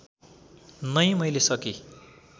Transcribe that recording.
नै मैले सकी